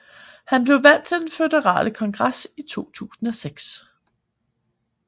Han blev valgt til den føderale kongres i 2006